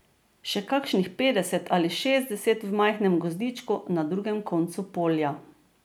Še kakšnih petdeset ali šestdeset v majhnem gozdičku na drugem koncu polja.